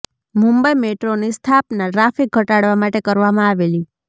મુંબઈ મેટ્રોની સ્થાપના ટ્રાફિક ઘટાડવા માટે કરવામા આવેલી